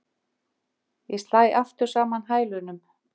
Ég slæ aftur saman hælunum.